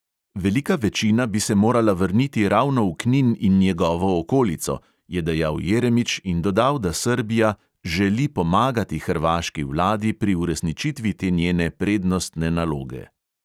"Velika večina bi se morala vrniti ravno v knin in njegovo okolico," je dejal jeremič in dodal, da srbija "želi pomagati hrvaški vladi pri uresničitvi te njene prednostne naloge".